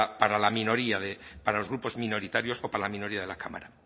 para la minoría para los grupos minoritarios o para la minoría de la cámara